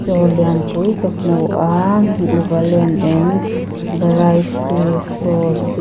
dawr lian pui ka hmu a valen and variety store